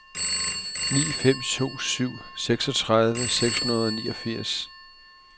ni fem to syv seksogtredive seks hundrede og niogfirs